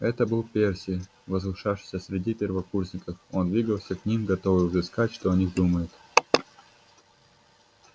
это был перси возвышавшийся среди первокурсников он двигался к ним готовый высказать что о них думает